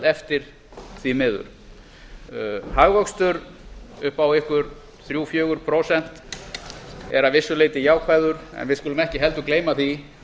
eftir því miður hagvöxtur upp á þriggja til fjögur prósent er að vissu leyti jákvæður en við skulum ekki gleyma því